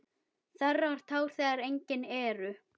Þerrar tár þegar engin eru.